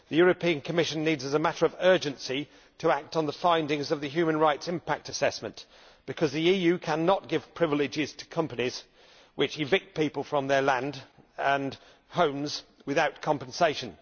The European Commission needs as a matter of urgency to act on the findings of the human rights impact assessment, because the EU cannot give privileges to companies which evict people from their land and homes without compensation.